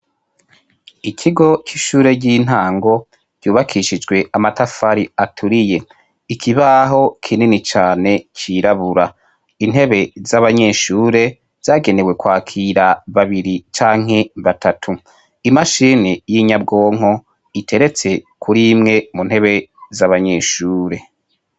Ikigo c' ishuri ry' intango ryubakishijwe amatafari aturiye ikibaho kinini cirabura intebe z' abanyeshure zagenewe kwakira babiri canke batatu imashini y' inyabwonko iteretse kuri imwe mu ntebe z' abanyeshure.